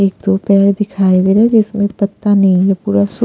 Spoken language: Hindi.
एक दो पैर दिखाई दे रहा है जिसमें पत्ता नहीं है पूरा सु --